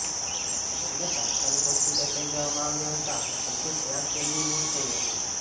તેમને તાત્કાલિક હોસ્પિટલ લઇ જવામાં આવ્યા હતા જો કે ત્યાંજ તેમનું મોત થયું હતું